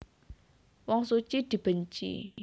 Wong suci dibenci